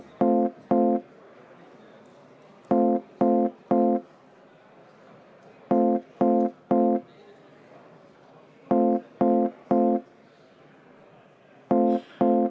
V a h e a e g